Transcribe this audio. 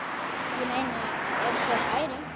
Ég meina ef svo færi.